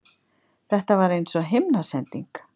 Þetta var eins og himnasending.